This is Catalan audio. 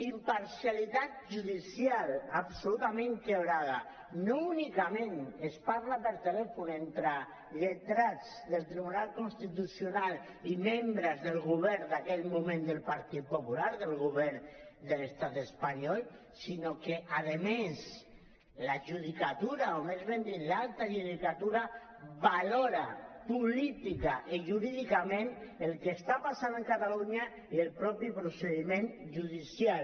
imparcialitat judicial absolutament trencada no únicament es parla per telèfon entre lletrats del tribunal constitucional i membres del govern d’aquell moment del partit popular del govern de l’estat espanyol sinó que a més la judicatura o més ben dit l’alta judicatura valora políticament i jurídicament el que està passant a catalunya i el mateix procediment judicial